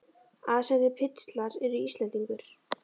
Aðsendir pistlar Ertu Íslendingur?